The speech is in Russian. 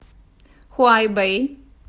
хуайбэй